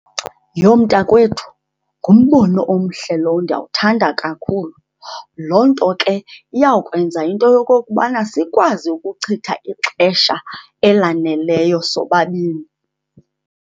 Yoh mntakwethu, ngumbono omhle lowo, ndiyawuthanda kakhulu. Loo nto ke iyawukwenza into yokokubana sikwazi ukuchitha ixesha elaneleyo sobabini.